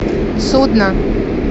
судно